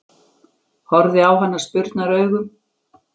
Horfði á hana spurnaraugum.